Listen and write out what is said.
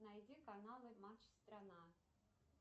найди каналы матч страна